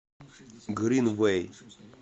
гринвэй